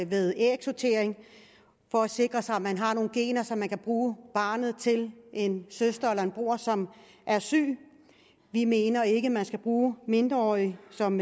ved ægsortering for at sikre sig at man har nogle gener så man kan bruge barnet til en søster eller en bror som er syg vi mener ikke man skal bruge mindreårige som